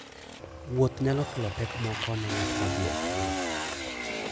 Wuoth nyalo kelo pek moko ne ng'at modhi e pinyno.